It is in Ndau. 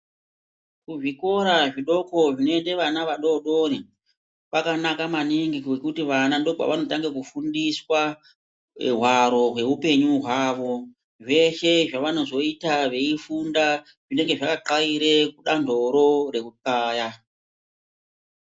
Kuzvikora zvidoko zvinoende vana vadoodori kwakanaka maningi ngekuti vana ndookwavanotanga kufundiswa hwaro hwekuupenyu hwavo. Zveshe zvavanozoita veifunda zvinenge zvakaxaira kudanhoro rekuxaya.